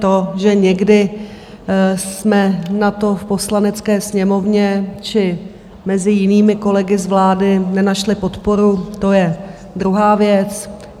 To, že někdy jsme na to v Poslanecké sněmovně či mezi jinými kolegy z vlády nenašli podporu, to je druhá věc.